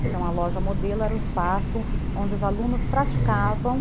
Então a loja modelo era um espaço onde os alunos praticavam